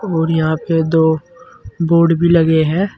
और यहां पे दो बोर्ड भी लगे है।